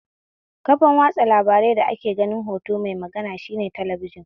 Kafan watsa labaran da ake ganin hoto mai magana shine talabijin